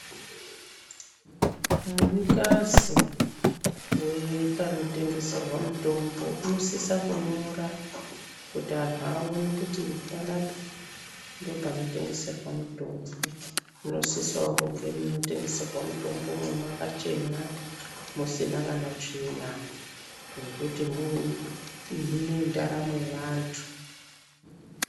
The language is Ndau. Munikazi wepanotengeserwa mutombo unosisa kunyora kuti anhu aone kuti panapa ndopanotengeserwa mutombo. Munosisawo munotengeserwa mutombo mwakachena musina kana tsvina ngekuti mune ndaramo yevantu.